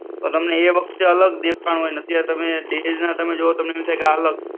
તો તમને એ વખતે અલગ દેખાણું હોય ત્યાં તમે તમે અલગ